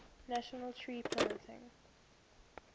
national tree planting